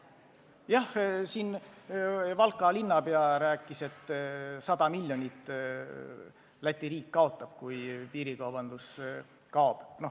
Jah, Valka linnapea rääkis, et 100 miljonit Läti riik kaotab, kui piirikaubandus kaob.